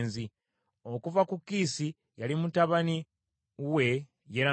Okuva ku Kiisi, yali mutabani we Yerameeri.